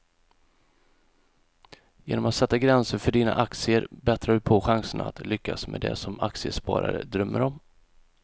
Genom att sätta gränser för dina aktier bättrar du på chanserna att lyckas med det som aktiesparare drömmer om.